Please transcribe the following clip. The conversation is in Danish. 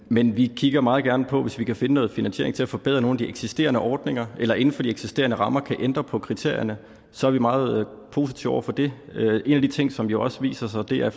men vi kigger meget gerne på hvis vi kan finde noget finansiering til at forbedre nogle af de eksisterende ordninger eller inden for de eksisterende rammer kan ændre på kriterierne så er vi meget positive over for det en af de ting som jo også viser sig er